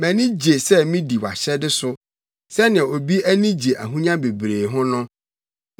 Mʼani gye sɛ midi wʼahyɛde so, sɛnea obi ani gye ahonya bebree ho no.